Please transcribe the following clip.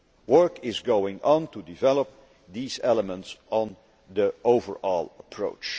Work is going on to develop these elements of this overall approach.